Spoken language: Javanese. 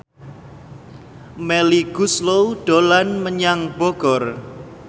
Melly Goeslaw dolan menyang Bogor